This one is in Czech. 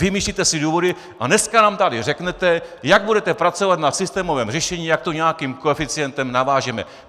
Vymýšlíte si důvody a dneska nám tady řeknete, jak budete pracovat na systémovém řešení, jak to nějakým koeficientem navážeme.